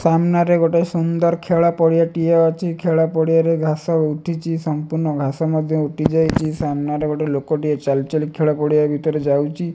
ସାମ୍ନା ରେ ଗୋଟିଏ ସୁନ୍ଦର ଖେଳ ପଡ଼ିଆ ଟିଏ ଅଛି ଖେଳ ପଡିଆ ରେ ଘାସ ଉଠିଚି ସଂପୂର୍ଣ୍ଣ ଘାସ ମଧ୍ୟ ଉଠିଯାଇଚି ସାମ୍ନା ରେ ଗୋଟେ ଲୋକଟିଏ ଚାଲି ଚାଲି ଖେଳ ପଡ଼ିଆ ଭିତରେ ଯାଉଚି ।